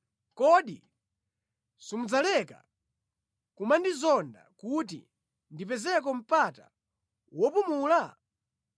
Kodi simudzaleka kumandizonda kuti ndipezeko mpata wopumula?